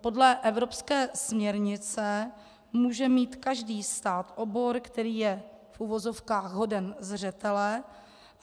Podle evropské směrnice může mít každý stát obor, který je v uvozovkách hoden zřetele,